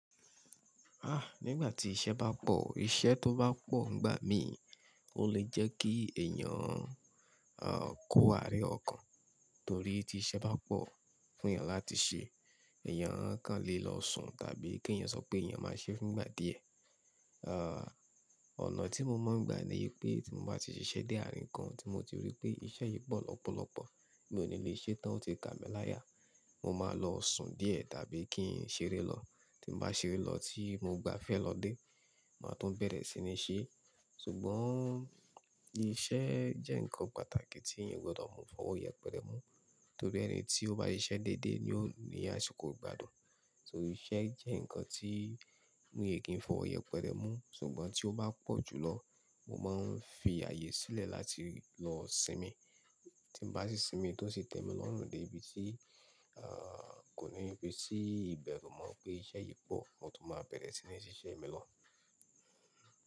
A nígbà tí iṣẹ́ bá pọ̀, iṣẹ́ tó bá pọ̀ ń gbà mí, ó lè jẹ́ kí èèyàn a kò àárẹ̀ ọkàn. Torí tí iṣẹ́ bá pọ̀ fún èèyàn láti ṣe, èèyàn kàn lè lọ sùn tàbí kí èèyàn sọ pé èèyàn máa ṣe é fún ìgbà díẹ̀. A onà tí mo máa ń gbà ni i pé tí mo bá ti ṣiṣẹ́ dé àárín kan tí mo ti rí pé iṣẹ́ yìí pọ̀ lọ́pọ̀lọpọ̀, mi ò ní lè ṣe tán ó ti ka mi láyà, mo máa lọ sùn díẹ̀ tàbí kí n ṣeré lọ. Tí n bá ṣeré lọ tí mo gba fẹ́ lọ dé, màá tún bẹ̀rẹ̀ sí ní ṣe. Ṣùgbọ́n iṣẹ́ jẹ́ nǹkan pàtàkì tí èèyàn o gbọ́dọ̀ mú fọwọ́ yẹpẹrẹ mú, torí ẹni tí ó bá ṣiṣẹ́ déédéé ni ó ní àṣìko ìgbádùn. Torí iṣẹ́ jẹ́ nǹkan tí mi ki n fọwọ́ yẹpẹrẹ mú, ṣùgbọ́n tí ó bá pọ̀ jùlọ, mo máa ń fi ààyè sílẹ̀ láti lọ sinmi. Tí n bá ti sinmi tó sì tẹ́mi lọ́rùn dé ibi tí, a, kò ní pé sí ìbẹ̀rù mo pé iṣẹ́ yìí pọ̀, mo tún máa bẹ̀rẹ̀ sí ní ṣiṣẹ́ mi lọ.